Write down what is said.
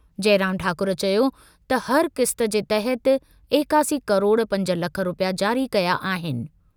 जइराम ठाकुर चयो त हर क़िस्त जे तहत एकासी किरोड़ पंज लख रूपया जारी कया आहिनि।